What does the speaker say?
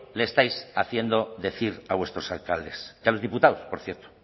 le estáis haciendo decir a vuestros alcaldes y a los diputados por cierto